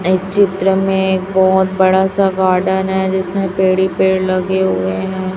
इस चित्र में बहोत बड़ा सा गार्डन है जिसमें पेड़ ही पेड़ लगे हुए हैं।